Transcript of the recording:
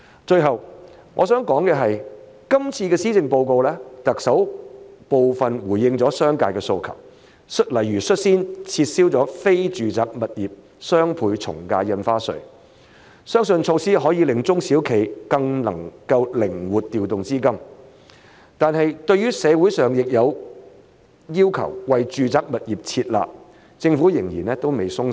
最後我想談的是，在今次的施政報告中，特首部分回應了商界的訴求，例如率先撤銷了非住宅物業雙倍從價印花稅，相信措施可令中小企更能夠靈活調動資金，但是對於社會上亦有要求為住宅物業"撤辣"，政府仍然未鬆手。